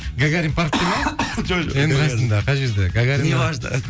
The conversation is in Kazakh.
гагарин паркте ме жоқ жоқ енді қайсысында қай жерде гагарина не важно